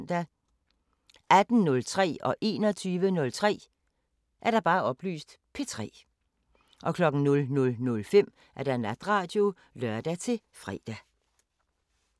18:03: P3 21:03: P3 00:05: Natradio (lør-fre)